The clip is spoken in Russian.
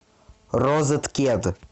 розеткед